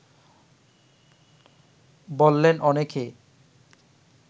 বললেন অনেকে